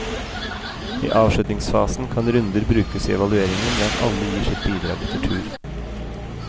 I avslutningsfasen kan runder brukes i evalueringen ved at alle gir sitt bidrag etter tur.